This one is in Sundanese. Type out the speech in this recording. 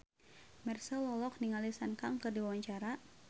Marchell olohok ningali Sun Kang keur diwawancara